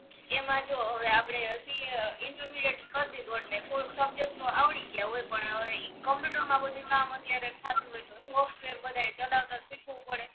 એમાં જો હવે આપડે સી એ ઇન્ટરમિડીએટ કરો દીધું એટલે કોર્સ સબ્જેક્ટ તો આવડી ગ્યાં હોય પણ હવે ઇ કોમ્પ્યુટર માં બધુ કામ અત્યારે થાતું હોય તો સોફ્ટવેર બધાય ચલાવતા શીખવું પડે